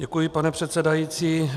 Děkuji, pane předsedající.